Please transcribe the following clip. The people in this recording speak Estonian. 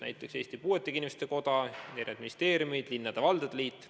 Näiteks on seal esindatud Eesti Puuetega Inimeste Koda, eri ministeeriumid, linnade- ja valdade liit.